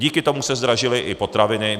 Díky tomu se zdražily i potraviny.